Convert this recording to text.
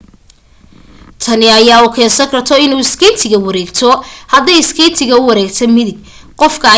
tani ayaa u keensan karto inuu iskeytka wareegto hadday iskeytka u wareegtaan midig qofka ayaa midig u bixi haday iskeytka u wareegtaan bidax qofka ayaa bidax u wareegi